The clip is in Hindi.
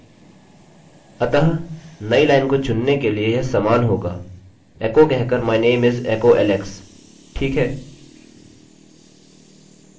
अतः नई लाइनline को चुनने के लिए यह समान होगा एकोechoकहकर my name is echo alex ठीक है